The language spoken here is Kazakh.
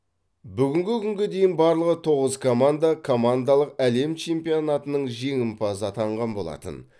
бүгінгі күнге дейін барлығы тоғыз команда командалық әлем чемпионатының жеңімпазы атағын алған болатын